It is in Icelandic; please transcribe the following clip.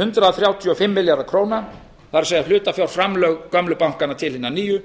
hundrað þrjátíu og fimm milljarðar króna það er hlutafjárframlög gömlu bankanna til hinna nýju